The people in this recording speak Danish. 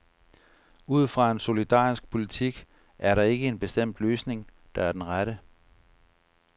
Ud fra en solidarisk politik er der ikke en bestemt løsning, der er den rette.